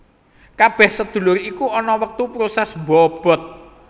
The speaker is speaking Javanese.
Kabeh sedulur iku ana wektu proses mbobot